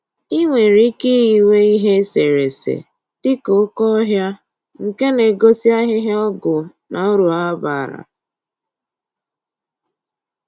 I nwere ike iyiwe ihe eserese dịka oke ọhịa nke na-egosi ahịhịa ọgwụ na uru ha bara